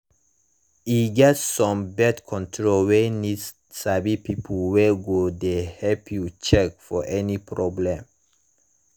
e get some birth control wey need sabi people wey go de help you check for any problem